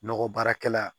Nɔgɔ baarakɛla